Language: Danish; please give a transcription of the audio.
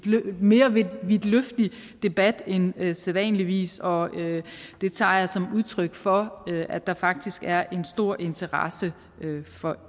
lidt mere vidtløftig debat en sædvanligvis og det tager jeg som udtryk for at der faktisk er en stor interesse for